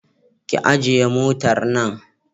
Ki ajiye motar nan